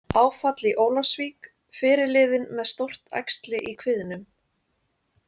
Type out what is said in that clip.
Áfall í Ólafsvík- Fyrirliðinn með stórt æxli í kviðnum